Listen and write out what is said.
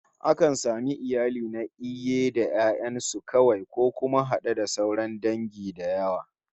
Akan samu iyali na iaye da 'ya'yan su kawai, ko kuma had'e da sauran dangi da yawa